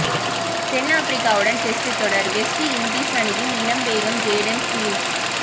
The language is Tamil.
தென் ஆப்ரிக்காவுடன் டெஸ்ட் தொடர் வெஸ்ட் இண்டீஸ் அணியில் இளம் வேகம் ஜேடன் சீல்ஸ்